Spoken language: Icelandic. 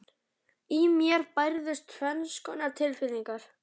Í mér bærðust tvenns konar tilfinningar.